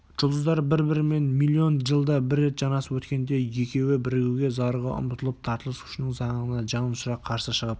жұлдыздар бір-бірімен миллион жылда бір рет жанасып өткенде екеуі бірігуге зарыға ұмтылып тартылыс күшінің заңына жанұшыра қарсы шығып